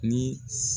Ni